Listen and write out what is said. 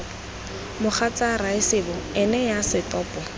mogatsa raesebo ene yo setopo